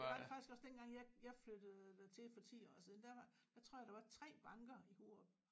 Det var der faktisk også dengang jeg jeg flyttede dertil for 10 år siden der var der tror jeg der var 3 banker i Hurup